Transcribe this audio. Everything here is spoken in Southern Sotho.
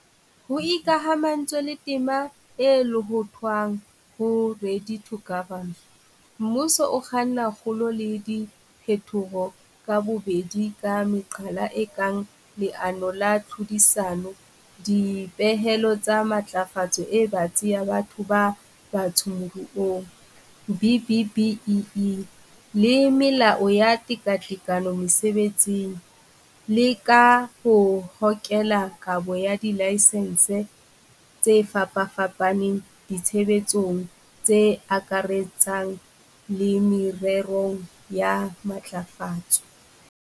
Ho ikamahantswe le tema e lohothwang ho Ready to Govern, mmuso o kganna kgolo le diphetoho ka bobedi ka meqala e kang leano la tlhodisano, dipehelo tsa matlafatso e batsi ya batho ba batsho moruong BBBEE le melao ya tekatekano mesebetsing, le ka ho hokela kabo ya dilaesense tse fapafapaneng ditshebeletsong tse akaretsang le mererong ya matlafatso.